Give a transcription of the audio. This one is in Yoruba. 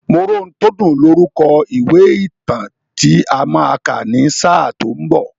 Moróhuntódùn lorúkọ ìwé ìtàn tí a máa kà ní sáà tó ń bọ̀.